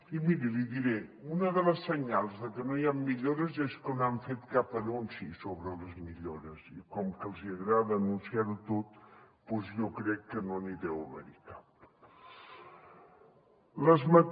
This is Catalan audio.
i miri l’hi diré una de les senyals de que no hi han millores és que no han fet cap anunci sobre les millores i com que els agrada anunciar ho tot doncs jo crec que no n’hi deu haver cap